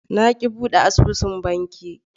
Na ki bude asusun banki.